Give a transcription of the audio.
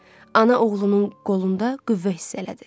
Ana oğlunun qolunda qüvvə hiss elədi.